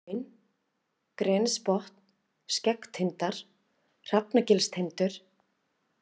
Vaðahraun, Grenisbotn, Skeggtindar, Hrafnagilstindur